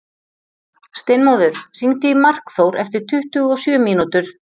Steinmóður, hringdu í Markþór eftir tuttugu og sjö mínútur.